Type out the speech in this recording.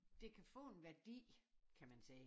Det kan få en værdi kan man sige